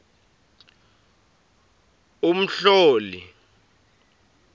umhloli